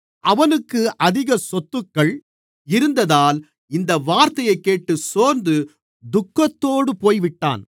அவனுக்கு அதிக சொத்துக்கள் இருந்ததால் இந்த வார்த்தையைக் கேட்டு சோர்ந்து துக்கத்தோடு போய்விட்டான்